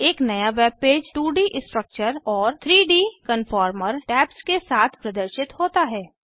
एक नया वेबपेज 2डी स्ट्रक्चर और 3डी कन्फॉर्मर टैब्स के साथ प्रदर्शित होता है